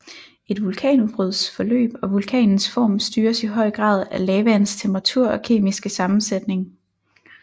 Et vulkanudbruds forløb og vulkanens form styres i høj grad af lavaens temperatur og kemiske sammensætning